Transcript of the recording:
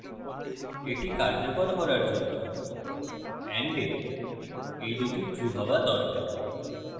এটি কার্যকর করার জন্য and এর এই দুটি true হওয়া দরকার